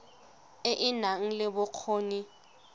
e e nang le bokgoni